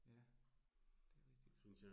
Ja. Det rigtigt